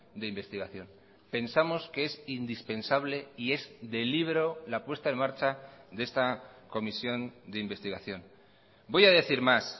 de investigación pensamos que es indispensable y es de libro la puesta en marcha de esta comisión de investigación voy a decir más